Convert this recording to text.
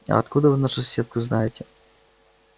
а откуда вы нашу соседку знаете